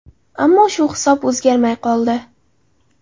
Ammo shu hisob o‘zgarmay qoldi.